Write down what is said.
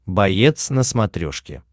боец на смотрешке